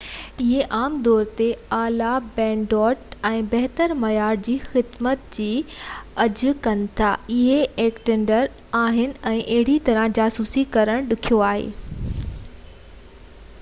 اهي عام طور تي اعليٰ بينڊوڊٽ ۽ بهتر معيار جي خدمت جي آڇ ڪن ٿا. اهي انڪرپٽيڊ آهن ۽ اهڙي طرح جاسوسي ڪرڻ ڏکيو آهي